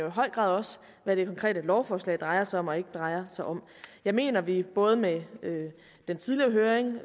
høj grad også hvad det konkrete lovforslag drejer sig om og ikke drejer sig om jeg mener at vi både med den tidligere høring